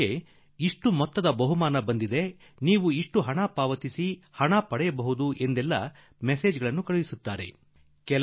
ನಿಮಗೆ ಇಷ್ಟು ರೂಪಾಯಿ ಬಹುಮಾನ ಬಂದಿದೆ ನೀವು ಇಷ್ಟು ಕೊಡಿ ಇಷ್ಟು ತೆಗೆದುಕೊಳ್ಳಿ ಎಂದು ತಿಳಿಸುವ ಸಂದೇಶ ನಿಮಗೆ ಯಾರಾದರೂ ಕಳುಹಿಸುತ್ತಿರಬಹುದು